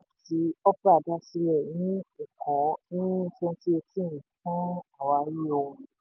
opay jẹ́ app tí opera dá sílẹ̀ ní èkó ní twenty eighteen fún fún àwárí ohun.